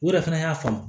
U yɛrɛ fɛnɛ y'a faamu